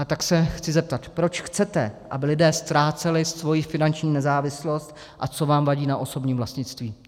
A tak se chci zeptat: Proč chcete, aby lidé ztráceli svoji finanční nezávislost, a co vám vadí na osobním vlastnictví?